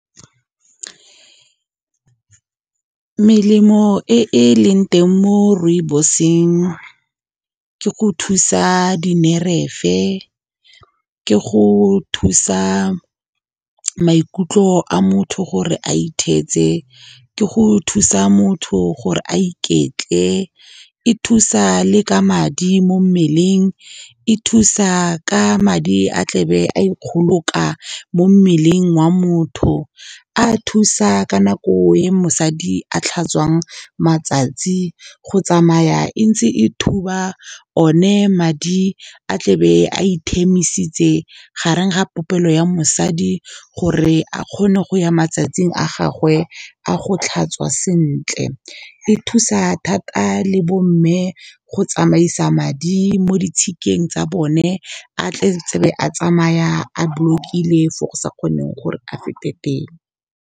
Melemo e e leng teng mo rooibos-eng ke go thusa dinerefe, ke go thusa maikutlo a motho gore a itheetse, ke go thusa motho gore a iketle. E thusa le ka madi mo mmeleng, e thusa ka madi a tlebe a ikgoloka mo mmeleng wa motho, a thusa ka nako ya mosadi a tlhatswang matsatsi go tsamaya, e ntse e thuba o ne madi a tlebe a ithemisitse gare ga popelo ya mosadi gore a kgone go ya matsatsing a gagwe a go tlhatswa sentle. E thusa thata le bo mme go tsamaisa madi mo ditshikeng tsa bone a tle a be a tsamaya a block-ile fo go sa kgoneng gore a fete teng.